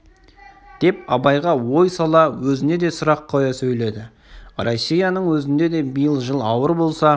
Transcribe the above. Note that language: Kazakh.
деп абайға ой сала өзіне де сұрақ қоя сөйледі россияның өзінде де биыл жыл ауыр болса